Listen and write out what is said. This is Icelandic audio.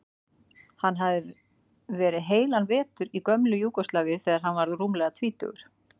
Hann hafði verið heilan vetur í gömlu Júgóslavíu þegar hann var rúmlega tvítugur.